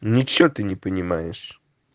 ничего ты не понимаешь